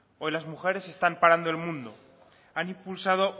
hoy las mujeres están parando el mundo han impulsado